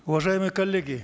уважаемые коллеги